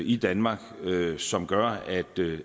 i danmark som gør at det